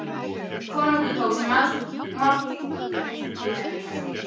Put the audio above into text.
Konungur tók sér málhvíld og virti mennina fyrir sér.